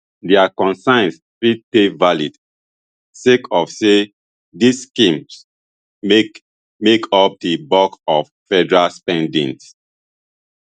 dia concerns fit dey valid sake of say these schemes make make up di bulk of federal spending